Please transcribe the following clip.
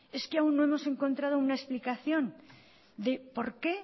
es que aún no hemos encontrado una explicación de